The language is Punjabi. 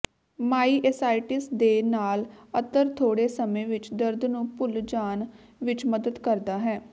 ਮਾਈਏਸਾਈਟਿਸ ਦੇ ਨਾਲ ਅਤਰ ਥੋੜੇ ਸਮੇਂ ਵਿੱਚ ਦਰਦ ਨੂੰ ਭੁੱਲ ਜਾਣ ਵਿੱਚ ਮਦਦ ਕਰਦਾ ਹੈ